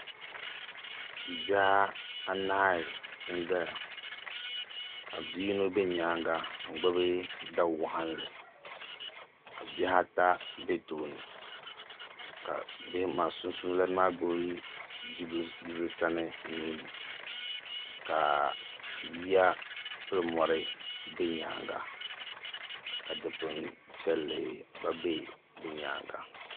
bihi anahi n zaya ka bi' yino be nyaanga n-gbibi da' waɣinli ka bihi ata be tooni ka sunsuuni lana maa gbibi bia sani nuuni ka ya pili mɔri m-be nyaanga ka dikpim' piɛlli gba be bɛ nyaanga